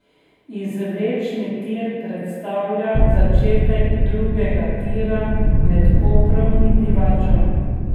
Izvlečni tir predstavlja začetek drugega tira med Koprom in Divačo.